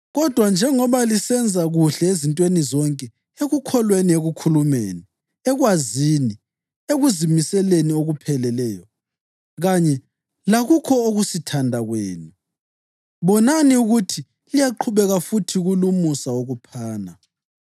Kodwa njengoba lisenza kuhle ezintweni zonke, ekukholweni, ekukhulumeni, ekwazini, ekuzimiseleni okupheleleyo kanye lakukho ukusithanda kwenu, bonani ukuthi liyaqhubeka futhi kulumusa wokuphana.